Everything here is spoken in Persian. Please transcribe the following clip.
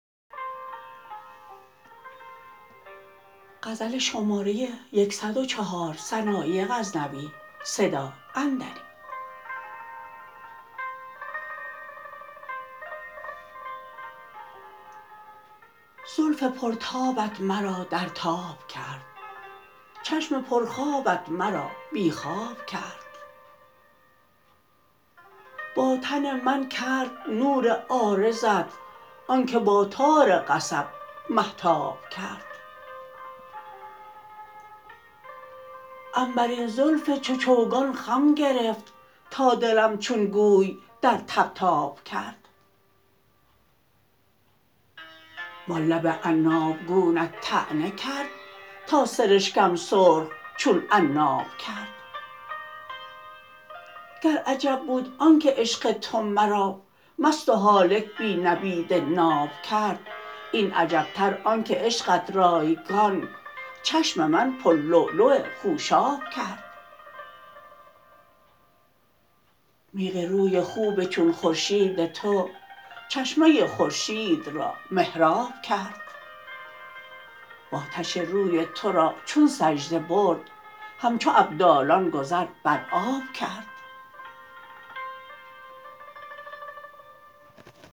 زلف پر تابت مرا در تاب کرد چشم پر خوابت مرا بی خواب کرد با تن من کرد نور عارضت آنکه با تار قصب مهتاب کرد عنبرین زلف چو چوگان خم گرفت تا دلم چو گوی در طبطاب کرد وان لب عناب گونت طعنه کرد تا سرشگم سرخ چون عناب کرد گر عجب بود آنکه عشق تو مرا مست و هالک بی نبید ناب کرد این عجب تر آنکه عشقت رایگان چشم من پر لولو خوشاب کرد میغ روی خوب چون خورشید تو چشمه خورشید را محراب کرد و آتش روی ترا چون سجده برد همچو ابدالان گذر بر آب کرد